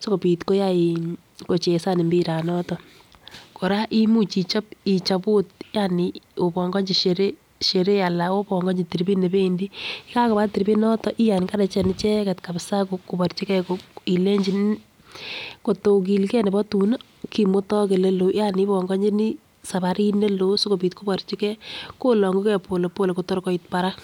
sikopit koyai in kocheza imbiranoto. Koraa imuch ichop Ichop ot yani obokonchi Sheree alan obongochi tiribit nependii. Yekakiba tiribit noton I enkarechen ichek kabisa ko kiborchigee ilenchi inee kotokigee nebo tun nii minutik oleloo yani obongonjini sabarit nekoo sikopit kiborchigee kolongun gee polepole Kotor koit barak.